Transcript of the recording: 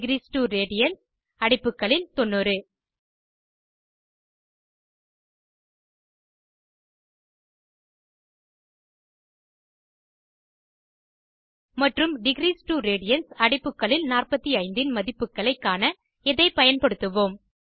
degrees2ரேடியன்ஸ் அடைப்புகளில் 90 மற்றும் degrees2ரேடியன்ஸ் அடைப்புகளில் 45 இன் மதிப்புகளைக் காண இதை பயன்படுத்துவோம்